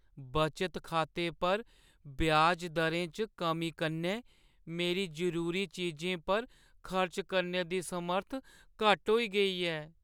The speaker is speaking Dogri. बचत खाते पर ब्याज दरें च कमी कन्नै मेरी जरूरी चीजें पर खर्च करने दी समर्थ घट्ट होई गेई ऐ।